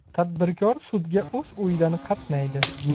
Tadbirkor sudga o‘z uyidan qatnaydi.